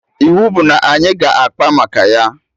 Iwu bụ na anyị ga akpa maka ya!